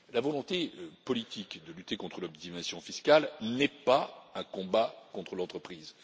La volonté politique de lutter contre l'optimisation fiscale n'est pas un combat contre l'entreprise